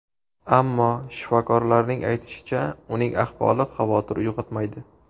Ammo shifokorlarning aytishicha, uning ahvoli xavotir uyg‘otmaydi.